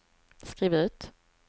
skriv ut